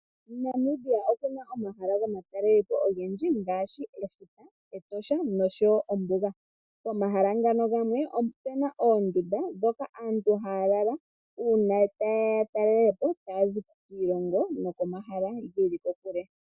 Namibia okuna omahala gomatalelepo ogendji ngaashi Etosha nosho woo ombuga. Omahala ngano gamwe opena oomdunda dhoka aantu haya lala uuna ta yeya ya talelepo taya zi kiilongo nokomahala geli kokule.